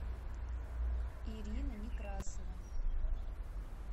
ирина некрасова